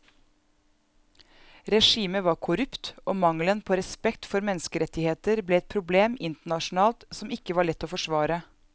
Regimet var korrupt og mangelen på respekt for menneskerettigheter ble et problem internasjonalt som ikke var lett å forsvare.